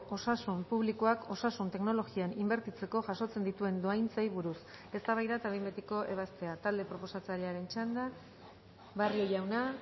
osasun publikoak osasun teknologian inbertitzeko jasotzen dituen dohaintzei buruz eztabaida eta behin betiko ebazpena talde proposatzailearen txanda barrio jauna